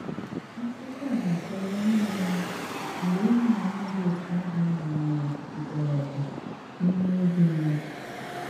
Akùkọ̀ a na-àkọ̀wà ìhè na-èmè mgbè ìhụ̀nànyà dị̀ otu ahụ̀ gbànyèrè mkpọ̀rọ̀gwụ̀ n’ímè òbí mmádụ̀’.